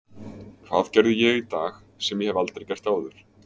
Hvað gerði ég í dag sem ég hef aldrei gert áður?